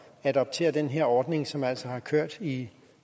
at adoptere den her ordning som altså har kørt i